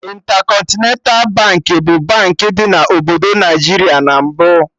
Intercontinental Baankị bụ Baankị dị na obodo Naịjiria na mbụ